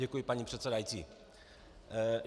Děkuji, paní předsedající.